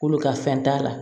K'olu ka fɛn t'a la